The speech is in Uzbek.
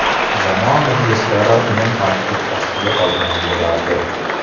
Jamoa muxlislari uni tanqid ostiga olgan bo‘lardi.